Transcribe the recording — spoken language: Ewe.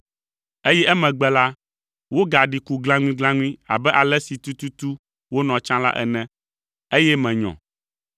eye emegbe la, wogaɖi ku glãŋuiglãŋui abe ale si tututu wonɔ tsã la ene, eye menyɔ!